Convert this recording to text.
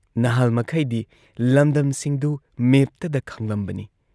ꯅꯍꯥꯜꯃꯈꯩꯗꯤ ꯂꯝꯗꯝꯁꯤꯡꯗꯨ ꯃꯦꯞꯇꯗ ꯈꯪꯂꯝꯕꯅꯤ ꯫